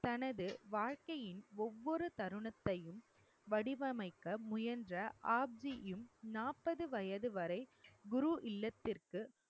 தனது வாழ்க்கையின் ஒவ்வொரு தருணத்தையும் வடிவமைக்க முயன்ற ஆப்ஜியும் நாற்பது வயது வரை குரு இல்லத்திற்கு